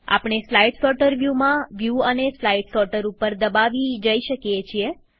આપણે slide sorter વ્યુમાં view અને સ્લાઈડ સોર્ટર ઉપર દબાવી જઈ શકીએ છીએ